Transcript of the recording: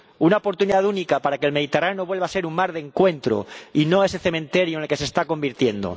Una oportunidad única para que el Mediterráneo vuelva a ser un mar de encuentro y no ese cementerio en el que se está convirtiendo.